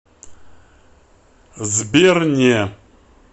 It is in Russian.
сбер не